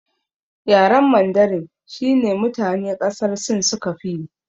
Yaren mandarin shine mutane ƙasar sin suka fiyi